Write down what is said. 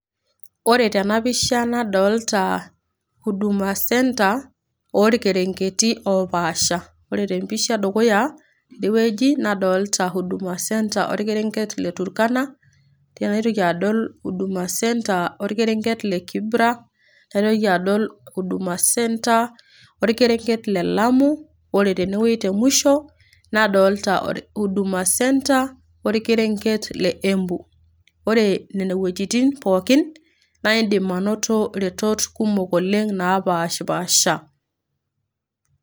ore tena pisha nadolta huduma centre orkereng'eti opaasha. Ore tempisha edukuya tenewueji nadolta huduma centre orkereng'et le Turkana tenaitoki adol huduma centre orkereng'et le Kibra naitoki adol huduma centre orkereng'et le Lamu ore tenewueji te musho nadolta huduma centre orkereng'et le Embu ore nene wuejitin pookin naindim anoto iretot kumok oleng napashipasha.